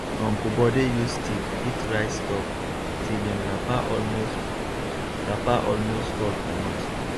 uncle bode use stick beat rice stalk till him wrapper almost wrapper almost fall comot